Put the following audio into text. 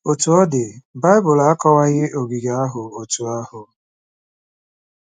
Otú ọ dị, Bible akọwaghị ogige ahụ otú ahụ.